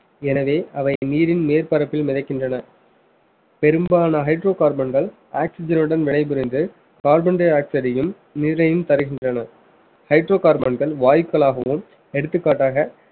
எனவே அவை நீரின் மேற்பரப்பில் மிதக்கின்றன பெரும்பாலான hydrocarbon கள் oxygen உடன் வினைபுரிந்து carbon dioxide யும், நீரையும் தருகின்றன hydrocarbon கள் வாயுக்களாகவும் எடுத்துக்காட்டாக